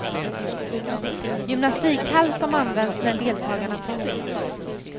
Gymnastikhall som används när deltagarna tas ut.